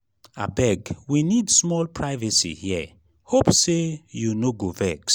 abeg we need small privacy here hope sey you no go vex.